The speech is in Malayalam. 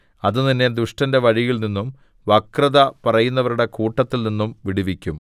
അത് നിന്നെ ദുഷ്ടന്റെ വഴിയിൽനിന്നും വക്രത പറയുന്നവരുടെ കൂട്ടത്തിൽനിന്നും വിടുവിക്കും